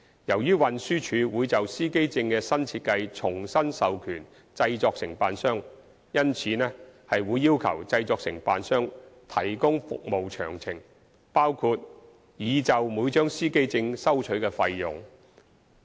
由於運輸署會就司機證的新設計重新授權製作承辦商，因此會要求製作承辦商提供服務詳情，包括擬就每張司機證收取的費用。